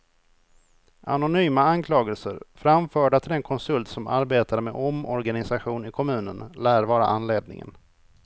Anonyma anklagelser, framförda till den konsult som arbetade med omorganisation i kommunen, lär vara anledningen.